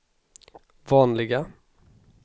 vanliga